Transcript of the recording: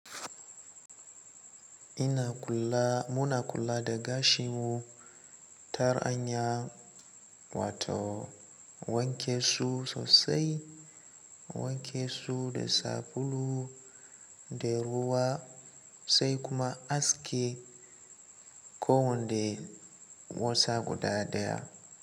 Ina kula, muna kula da gashinmu ta hanyar wato, wanke su sosai, wanke su da sabulu da ruwa sai kuma aske kowanne wasa guda ɗaya.